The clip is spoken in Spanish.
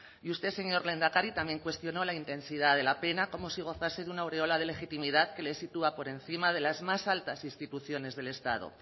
y usted señor lehendakari también cuestionó la intensidad de la pena como si gozase de una aureola de legitimidad que le sitúa por encima de las más altas instituciones del estado